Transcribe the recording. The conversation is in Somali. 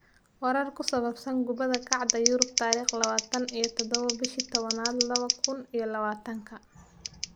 Warar ku saabsan Kubada Cagta Yurub tarikh lawatan iyo dodobo bishi tawanad lawadha kun iyolawatanka: Mustafi, Townsend, Bilic, Rose, Rudiger